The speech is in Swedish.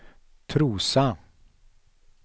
Trosa